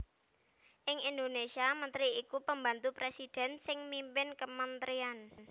Ing Indonésia mentri iku pembantu presidhèn sing mimpin kementrian